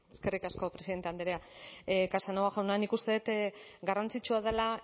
eskerrik asko presidente andrea casanova jauna nik uste dut garrantzitsua dela